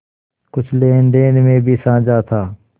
कुछ लेनदेन में भी साझा था